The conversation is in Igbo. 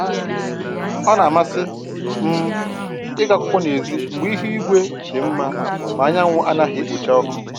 Ọ na-amasị m ịgụ akwụkwọ n'èzí mgbe ihu igwe dị mma ma anyanwụ anaghị ekpocha ọkụ